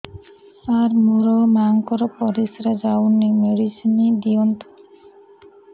ସାର ମୋର ମାଆଙ୍କର ପରିସ୍ରା ଯାଉନି ମେଡିସିନ ଦିଅନ୍ତୁ